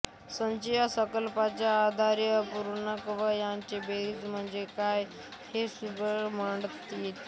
संच या संकल्पनेच्या आधारे धनपूर्णांक व यांची बेरीज म्हणजे काय हे सुलभतेने मांडता येते